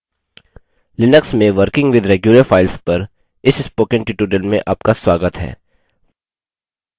Linux में working with regular files पर इस spoken tutorial में आपका स्वागत है